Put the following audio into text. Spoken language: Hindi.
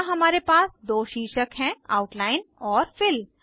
यहाँ हमारे पास दो शीर्षक हैं आउटलाइन और Fill